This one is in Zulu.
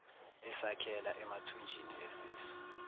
esakhela emathunjini esisu